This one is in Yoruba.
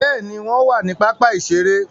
Béèni, wọn wà ni pápá iṣere